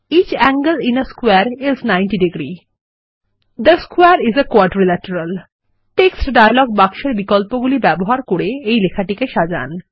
each angle in a square is ninety degrees the square is a quadrilateral text dialog বাক্সের বিকল্পগুলি ব্যবহার করে এই লেখাটিকে সাজান